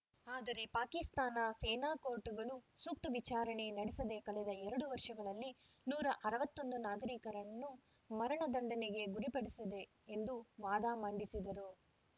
ಆದರೆ ಪಾಕಿಸ್ತಾನ ಸೇನಾ ಕೋರ್ಟ್‌ಗಳು ಸೂಕ್ತ ವಿಚಾರಣೆ ನಡೆಸದೇ ಕಳೆದ ಎರಡು ವರ್ಷಗಳಲ್ಲಿ ನೂರ ಅರವತ್ತೊಂದು ನಾಗರಿಕರನ್ನುಮರಣದಂಡನೆಗೆ ಗುರಿಪಡಿಸಿದೆ ಎಂದು ವಾದ ಮಂಡಿಸಿದರು